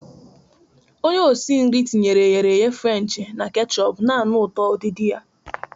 Onye osi nri tinyere ehere ehe Frenchi na kechupu, na-anụ ụtọ udidi ha.